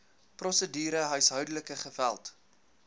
prosedure huishoudelike geweld